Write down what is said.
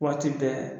Waati bɛɛ